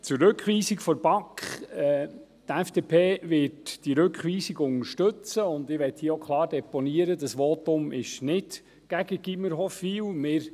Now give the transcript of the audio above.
Zur Rückweisung der BaK: Die FDP wird diese Rückweisung unterstützen, und ich möchte hier auch klar deponieren, dass dieses Votum nicht gegen das Gymnasiums Hofwil gerichtet ist.